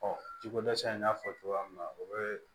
ji ko dɛsɛ in y'a fɔ cogoya min na o bɛ